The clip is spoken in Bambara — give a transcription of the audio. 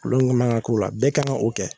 Kulon ŋɔɔna ka ko la bɛɛ kan ŋa o kɛ